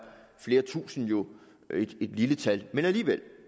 flere tusinde jo et lille tal men alligevel er